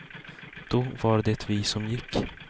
Då var det vi som gick.